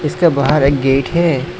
इसका बाहर एक गेट है।